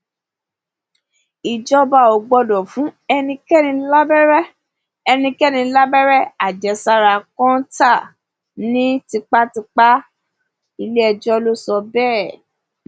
ìjọba ò gbọdọ fún ẹnikẹni lábẹrẹ ẹnikẹni lábẹrẹ àjẹsára kọńtà ní tipátipá ilé ẹjọ́ ló sọ bẹ́ẹ̀